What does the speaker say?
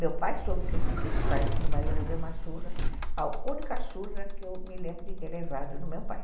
Meu pai soube que eu fui para esse parquinho, mas eu levei uma surra, a única surra que eu me lembro de ter levado no meu pai.